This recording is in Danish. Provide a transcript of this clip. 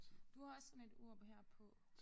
Du har også sådan et ur her på